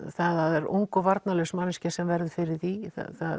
það er ung og varnarlaus manneskja sem verður fyrir því